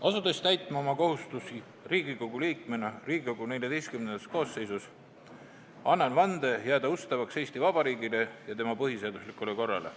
Asudes täitma oma kohustusi Riigikogu liikmena Riigikogu XIV koosseisus, annan vande jääda ustavaks Eesti Vabariigile ja tema põhiseaduslikule korrale.